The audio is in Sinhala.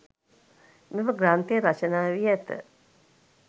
මෙම ග්‍රන්ථය රචනා වී ඇත.